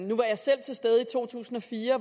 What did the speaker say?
to tusind og fire